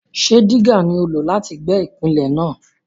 Ṣé dígà ni o lò láti gbẹ́ ìpìlẹ̀ náà?